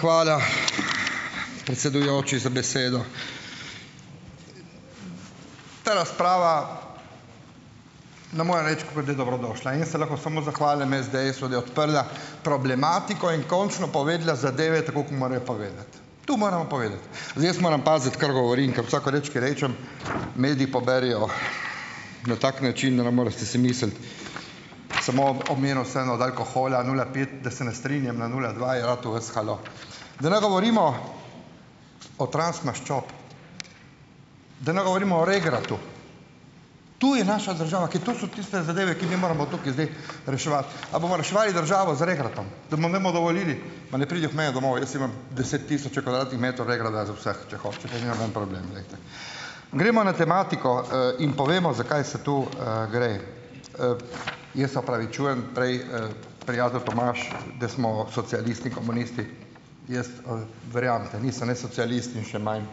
Hvala, predsedujoči, za besedo. Ta razprava. In jaz se lahko samo zahvalim SDS-u, da je odprla problematiko in končno povedala zadeve, tako kot morajo povedati. Tu moramo povedati. Zdaj jaz moram paziti, kar govorim, ker vsako reči, ki rečem, mediji poberejo na tak način, da ne morate si misliti. Samo omenil sem eno tako hojla, nula pet, da se ne strinjam na nula dva, ja, Da ne govorimo o transmaščobah, da ne govorimo o regratu. Tu je naša država, ki to so tiste zadeve, ki mi moramo tukaj zdaj reševati. A bomo reševali državo z regratom, da mu ne bomo dovolili, ma naj pridejo k meni domov, jaz imam deset tisoče kvadratnih metrov regrata. Gremo na tematiko, in povemo, zakaj se to, gre. Jaz se opravičujem, prej, prijatelj Tomaž, da smo socialisti, komunisti. Jaz, verjamete, nisem jaz socialist in še manj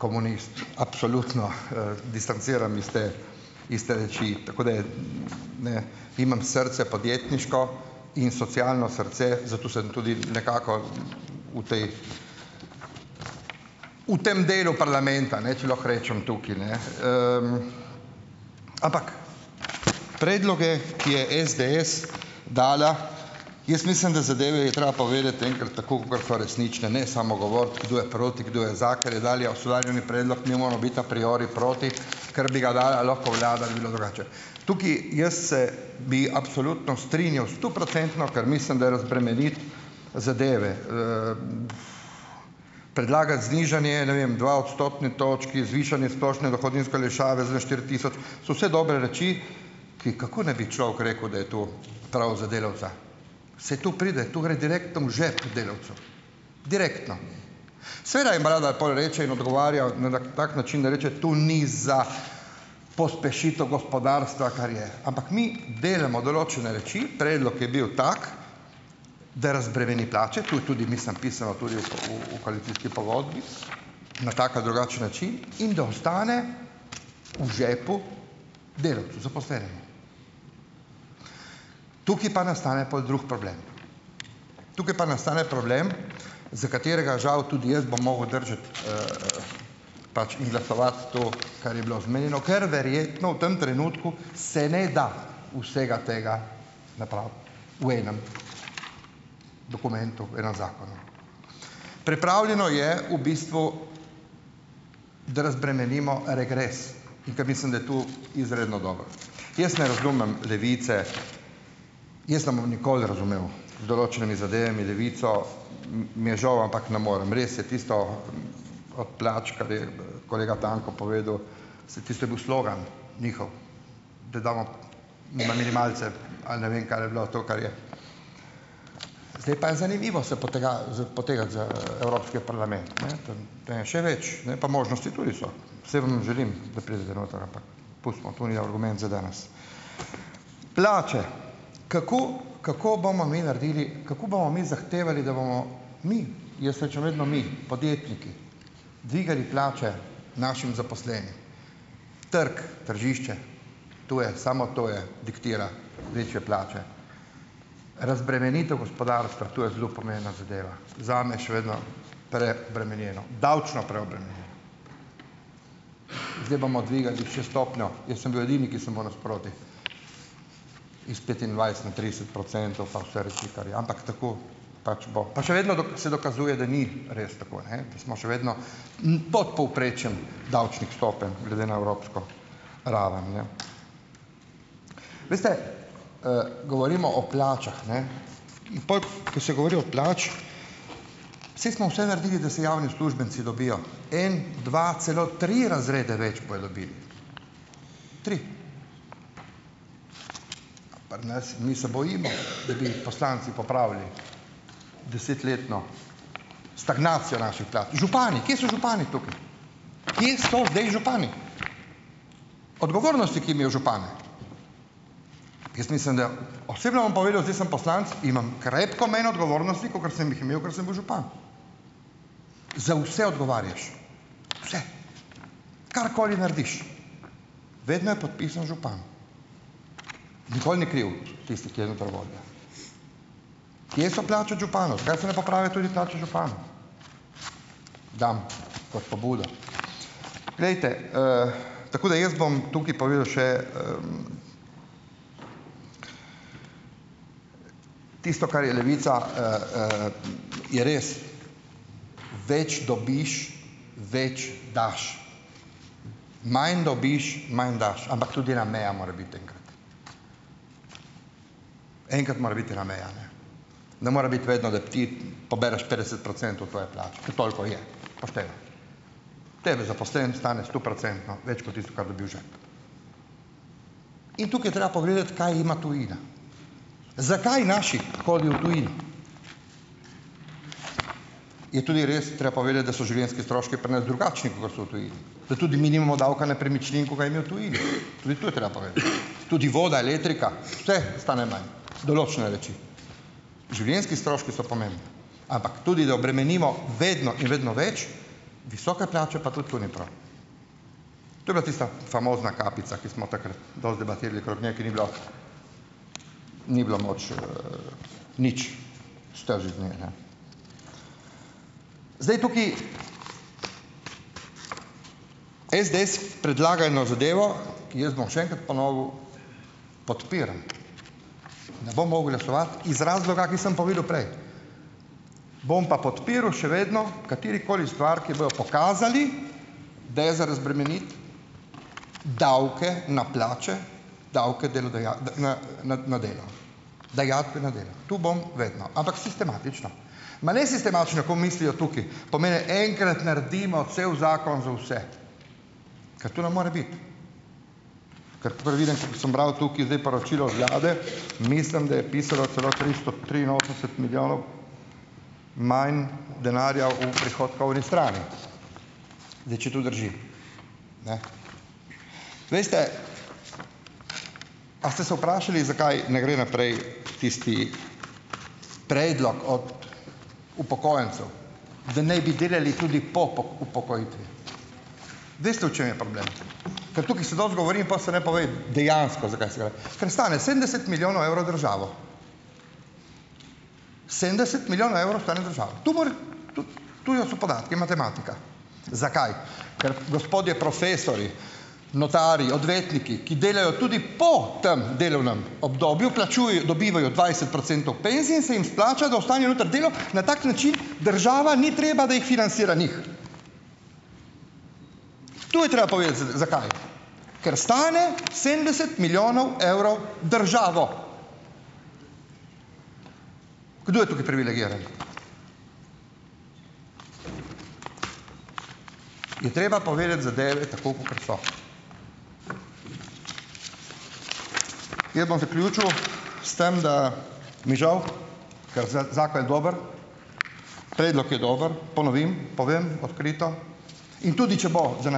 komunist. Absolutno, distanciram iz te, iz te reči, tako da, imam srce, podjetniško in socialno srce, zato sem tudi nekako, v tej, v tem delu parlamenta, ne, če lahko rečem tukaj, ne. Ampak predloge, ki je SDS dala, jaz mislim, da zadeve je treba povedati enkrat tako kakor resnične, ne samo govoriti, kdo je proti, kdo je za, predlog, mi moramo biti a priori proti, ker bi ga dala lahko vlada, bi bilo drugače. Tukaj jaz se bi absolutno strinjal, stoprocentno, ker mislim, da razbremeni zadeve. Predlaga znižanje, ne vem dve odstotni točki, zvišanje splošne dohodninske olajšave za štiri tisoč, so vse dobre reči, ki, kako ne bi človek rekel, da je to prav za delavca. Saj to pride, to gre direktno v žep delavcu. Direktno. Seveda jim Brada pol reče in odgovarja, tak način, da reče, to ni za pospešitev gospodarstva, kar je, ampak mi delamo določene reči, predlog je bil tak, da razbremeni plače, to je tudi mislim pisalo tudi, v koalicijski pogodbi, na tak ali drugačen način, in da ostane v žepu delavcu, zaposlenim. Tukaj pa nastane pol drug problem. Tukaj pa nastane problem, za katerega žal tudi jaz bom mogel držati, pač in glasovati to, kar je bilo omenjeno, ker verjetno v tem trenutku se ne da vsega tega napraviti v enem dokumentu, enem zakonu. Pripravljeno je v bistvu, da razbremenimo regres, in ker mislim, da je to izredno dobro. Jaz ne razumem Levice, jaz ne bom nikoli razumel z določenimi zadevami Levico. Mi je žal, ampak ne morem, res je tisto, od plač, kar je, kolega Tanko povedal, saj tisto je bil slogan, njihov, da damo na minimalce, ali ne vem, kar je bilo, to, kar je, zdaj pa je zanimivo se z potegniti z, evropski parlament, ne, tam. Tam je še več, ne, pa možnosti tudi so. Saj vam želim, da pridete noter, ampak pustimo, to ni argument za danes. Plače. Kako, kako bomo mi naredili, kako bomo mi zahtevali, da bomo mi, jaz rečem vedno mi, podjetniki, dvigali plače našim zaposlenim. Trg, tržišče, to je, samo to je, diktira večje plače. Razbremenitev gospodarstva, to je zelo pomembna zadeva, zame še vedno preobremenjeno. Davčno preobremenjeno. Zdaj bomo dvigali še stopnjo, jaz sem bil edini, ki se moram sproti iz petindvajset na trideset procentov, ampak tako pač bo. Pa še vedno se dokazuje, da ni res tako, ne. Da smo še vedno, pod povprečjem davčnih stopenj glede na evropsko raven, ne. Veste, govorimo o plačah, ne, in pol, ko se govori o plačah, saj smo vse naredili, da se javni uslužbenci dobijo. En, dva, celo tri razrede več bojo dobili. Tri. Pri nas, mi se bojimo, da bi poslanci popravili desetletno stagnacijo naših plač. Župani. Kje so župani tukaj? Kje so zdaj župani? Odgovornosti, ki imel župane. Jaz mislim, da osebno vam povedal, zdaj sem poslanec, imam krepko manj odgovornosti, kakor sem jih imel, ker sem bil župan. Za vse odgovarjaš. Vse. Karkoli narediš, vedno je podpisan župan. Nikoli ni kriv tisti ... Kje so plače županov? Zakaj se ne popravijo tudi plače županov? Dam kot pobudo. Glejte, tako da jaz bom tukaj povedal še, tisto, kar je Levica, je res, več dobiš, več daš, manj dobiš, manj daš, ampak tudi ena meja mora biti enkrat. Enkrat more biti ena meja, ne. Ne more biti vedno, da ti pobereš petdeset procentov tvoje plače. Ker toliko je pošteno. Tebe zaposleni stane stoprocentno več kot tisto, kar dobi v žep. In tukaj je treba pogledati, kaj ima tujina. Zakaj naši hodijo v tujino. Je tudi res treba povedati, da so življenjski stroški pri nas drugačni, kakor so v tujini. Da tudi mi nimamo davka nepremičnin, ko ga imajo v tujini. Tudi tu je treba povedati. Tudi voda, elektrika vse stane manj. Določene reči, življenjski stroški so pomembni. Ampak tudi da obremenimo vedno in vedno več, visoke plače, pa tudi to ni prav. To pa je tista famozna kapica, ki smo takrat dosti debatirali okrog, ne, ker ni bilo ni bilo moč, nič. Zdaj tukaj SDS predlaga eno zadevo, jaz bom še enkrat ponovil, podpiram. Ne bom mogel glasovati, iz razloga, ki sem povedal prej. Bom pa podpiral še vedno katerikoli stvar, ki bojo pokazali, da je za razbremeniti davke na plače, davke na delo. Dajatve na delo. Tu bom vedno. Ampak sistematično, ma ne sistematično, ko mislijo tukaj. Pomeni, enkrat naredimo cel zakon za vse. Ker to ne more biti. tukaj zdaj poročilo od vlade, mislim, da je pisalo celo tristo triinosemdeset milijonov manj denarja, v prihodka oni strani. Zdaj če to drži. Veste, a ste se vprašali, zakaj ne gre naprej tisti predlog od upokojencev, da naj bi delali tudi po po upokojitvi? Veste, v čem je problem? Ker tukaj se dosti govori in po se ne pove dejansko, za kaj se gre. Ker stane sedemdeset milijonov evrov državo. Sedemdeset milijonov evrov stane državo. To je, so podatki, matematika. Zakaj, ker gospodje profesorji, notarji, odvetniki, ki delajo tudi po tem delovnem obdobju, plačujejo, dobivajo dvajset procentov penzije in se jim splača, Na tak način država ni treba, da jih financira njih. To je treba povedati, zakaj. Ker stane sedemdeset milijonov evrov državo. Kdo je tukaj privilegiran? Je treba povedati zadeve tako, kakor so. Jaz bom zaključil s tem, da mi žal, ker zakon je dober, predlog je dober, ponovim, povem odkrito. In tudi če bo za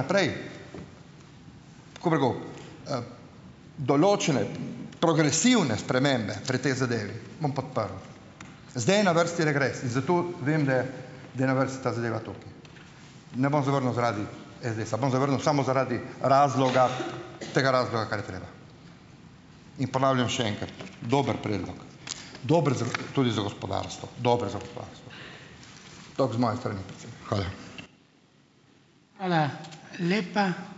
naprej, določene progresivne spremembe pri tej zadevi, bom podprl. Zdaj je na vrsti regres. In za to vem, da je, da je na vrsti ta zadeva tukaj. Ne bom zavrnil zaradi SDS-a, bom zavrnil samo zaradi razloga, tega razloga, kar je treba. In ponavljam še enkrat. Dober predlog. Dober za tudi za gospodarstvo. Tako z moje strani. Hvala.